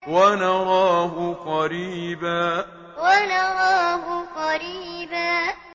وَنَرَاهُ قَرِيبًا وَنَرَاهُ قَرِيبًا